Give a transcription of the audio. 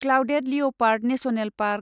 clouded leopard national park